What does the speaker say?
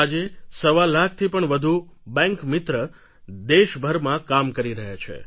આજે સવા લાખથી પણ વધુ બેન્ક મિત્ર દેશભરમાં કામ કરી રહ્યા છે